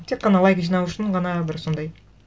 тек қана лайк жинау үшін ғана бір сондай